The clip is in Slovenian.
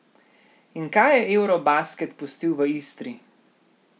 In kaj je eurobasket pustil v Istri?